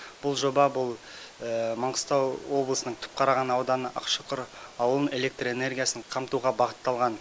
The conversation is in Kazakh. бұл жоба бұл маңғыстау облысының түпқараған ауданы ақшұқыр ауылын электр энергиясын қамтуға бағытталған